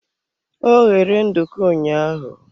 Ọ ghere nduku ụnyaahụ.